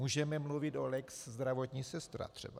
Můžeme mluvit o lex zdravotní sestra, třeba.